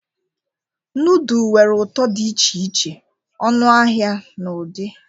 Nudul nwere ụtọ dị iche iche, ọnụahịa na ụdị.